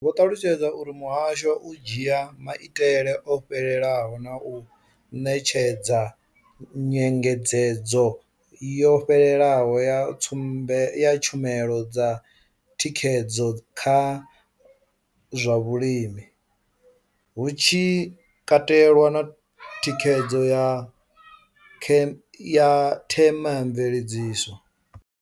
Vho ṱalutshedza uri muhasho u dzhia maitele o fhelelaho na u ṋetshedza nyengedzedzo yo fhelelaho ya tshumelo dza thikhedzo kha zwa vhulimi, hu tshi katelwa na thikhedzo ya themamveledziso.